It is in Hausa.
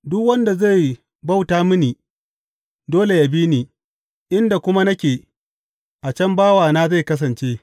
Duk wanda zai bauta mini dole yă bi ni, inda kuma nake, a can bawana zai kasance.